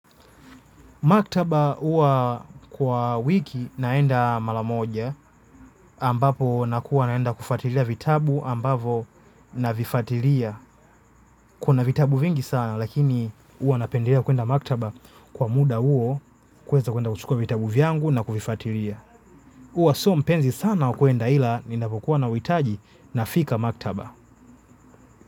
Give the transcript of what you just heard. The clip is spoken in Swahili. Maktaba uwa kwa wiki naenda malamoja ambapo nakuwa naenda kufuatiria vitabu ambavo na vifuatiria. Kuna vitabu vingi sana lakini uwa napenderea kuenda maktaba kwa muda uo kuweza kuenda kuchukua vitabu vyangu na kuvifuatiria. Uwa so mpenzi sana ukuenda ila ni napokuwa na witaji na fika maktaba.